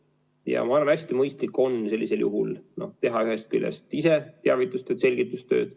Ma arvan, et hästi mõistlik on sellisel juhul teha ühest küljest ise teavitustööd, selgitustööd.